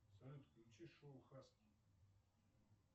салют включи шоу хаски